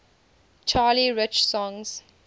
charlie rich songs